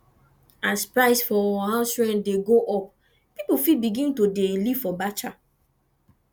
as price for house rent de go up pipo fit begin to de live for batcha